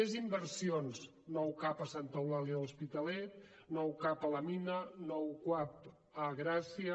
més inversions nou cap a santa eulàlia a l’hospitalet nou cap a la mina nou cuap a gràcia